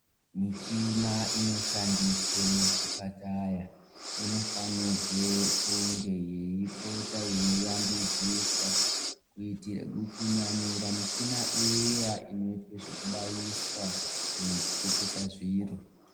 Michina inoshandiswe muzvipataya inofanirwe kunge yeipota yeiambidziswa kuitira kunyanyira michina iya inoitwa zvekubaiswa kana kuchekesa zviro.